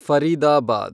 Faridabad